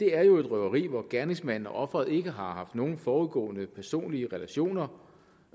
er jo et røveri hvor gerningsmanden og offeret ikke har haft nogen forudgående personlige relationer